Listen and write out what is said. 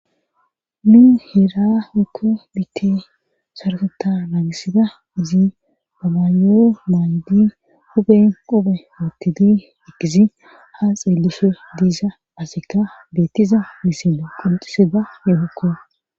nu heera hukku bite sarkota naagisida izi babaayoo maaydi hupen qophe woottidi ikisi ha xeellishe diisa asekka beettiza misine qolxisida neehokko